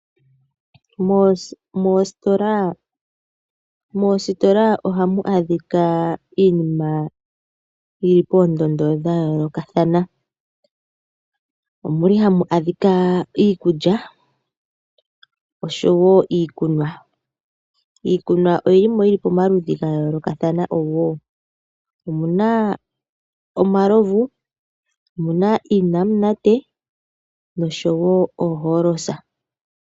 Moositola ohamu adhika iinima yili poondondo dhayoolokathana. Omuli hamu adhika iikulya oshowo iikunwa. Iikunwa oyili mo yili pamaludhi gayolokathana. Omuna omalovu. Omuna iinamunate. Noshowo oholosa.